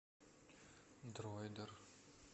дроидер